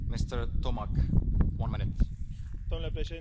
Domnule președinte, am votat pentru această rezoluție.